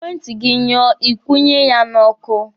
Ekwentị gị nyụọ, Ị kwụnye ya n'ọkụ.